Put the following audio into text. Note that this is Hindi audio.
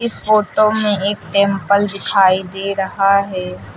इस फोटो में एक टेंपल दिखाई दे रहा है।